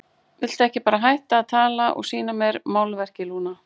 Viltu ekki bara hætta að tala og sýna mér málverkið, Lúna?